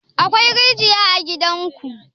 Akwai rijiya a gidan ku?